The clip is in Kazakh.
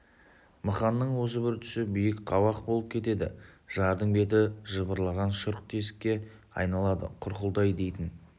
мықанның осы бір тұсы биік қабақ болып кетеді жардың беті жыбырлаған шұрқ тесікке айналады құрқылтай дейтін